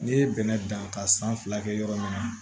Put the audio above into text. N'i ye bɛnɛ dan ka san fila kɛ yɔrɔ min na